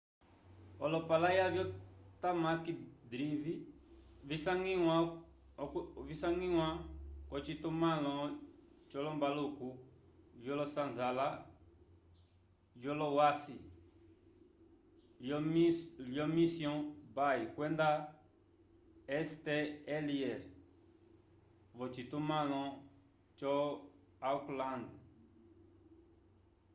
olopalaya vyo tamaki drive visangiwa k'ocitumãlo c'olombaluku vyolosanzala vyolowasi lyo mission bay kwenda st heliers v'ocitumãlo co aukland